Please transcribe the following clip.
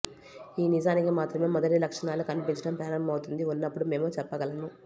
ఈ నిజానికి మాత్రమే మొదటి లక్షణాలు కనిపించడం ప్రారంభమవుతుంది ఉన్నప్పుడు మేము చెప్పగలను